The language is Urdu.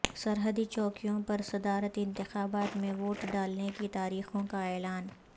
سرحدی چوکیوں پر صدارتی انتخابات میں ووٹ ڈالنے کی تاریخوں کا اعلان